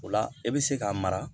O la e bɛ se k'a mara